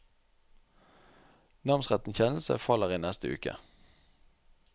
Namsrettens kjennelse faller i neste uke.